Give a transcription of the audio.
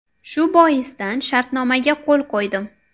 Shu boisdan shartnomaga qo‘l qo‘ydim.